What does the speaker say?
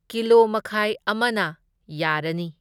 ꯀꯤꯂꯣꯃꯈꯥꯏ ꯑꯃꯅ ꯌꯥꯔꯅꯤ꯫